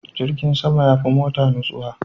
Jirgin sama ya fi mota nutsuwa.